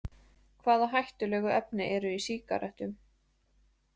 Hvaða hættulegu efni eru í sígarettum?